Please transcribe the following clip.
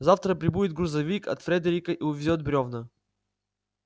завтра прибудет грузовик от фредерика и увезёт брёвна